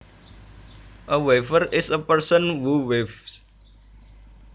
A weaver is a person who weaves